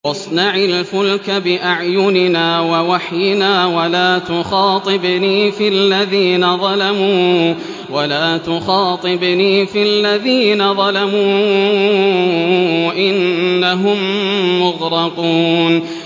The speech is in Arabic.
وَاصْنَعِ الْفُلْكَ بِأَعْيُنِنَا وَوَحْيِنَا وَلَا تُخَاطِبْنِي فِي الَّذِينَ ظَلَمُوا ۚ إِنَّهُم مُّغْرَقُونَ